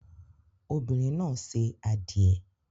Obinrin na se adie